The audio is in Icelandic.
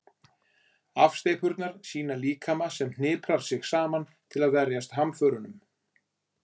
afsteypurnar sýna líkama sem hniprar sig saman til að verjast hamförunum